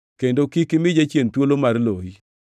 kendo kik imi jachien thuolo mar loyi.